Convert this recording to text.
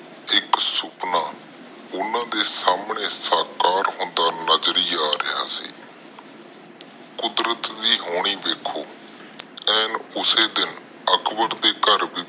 ਸੁਪਨਾ ਓਹਨਾ ਦੇ ਸਾਮਣੇ ਸਾਕਾਰ ਹੋਂਦਾ ਨਜਰੀ ਆ ਰਿਹਾ ਸੀ। ਕੁਦਰਤ ਦੇ ਦੇਣੀ ਦੇਖੋ ਐਨ ਉਸੇ ਦਿਨ ਅਕਬਰ ਦੇ ਘਰ ਵੀ